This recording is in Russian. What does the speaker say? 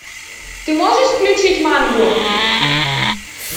ты можешь включить мангу